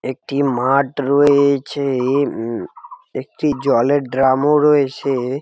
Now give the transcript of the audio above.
একটি মাঠ রয়েছে উম একটি জলের ড্রাম ও রয়েছে ।